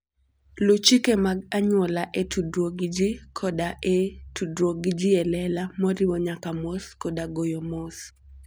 Luw chike mag anyuola e tudruok gi ji koda e tudruok gi ji e lela, moriwo nyaka mos koda goyo mos.